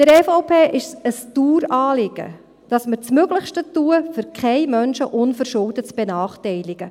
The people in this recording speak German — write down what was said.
Der EVP ist es ein Daueranliegen, dass wir das Möglichste tun, um keinen Menschen unverschuldet zu benachteiligen.